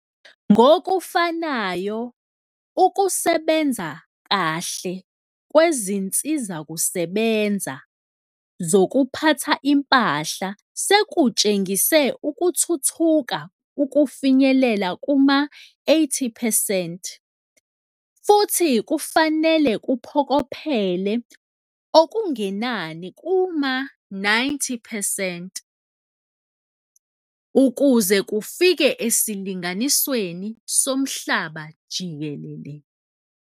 Ngokufanayo, ukusebenza kahle kwezinsizakusebenza zokuphatha impahla sekutshengise ukuthuthuka ukufinyelela kuma-80 percent futhi kufanele kuphokophelele okungenani kuma-90 percent ukuze kufike esilinganisweni somhlaba jikelele.